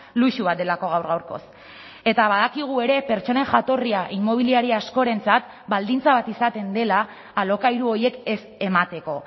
luxu bat delako gaur gaurkoz eta badakigu ere pertsonen jatorria inmobiliaria askorentzat baldintza bat izaten dela alokairu horiek ez emateko